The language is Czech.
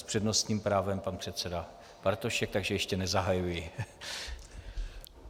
S přednostním právem pan předseda Bartošek, takže ještě nezahajuji.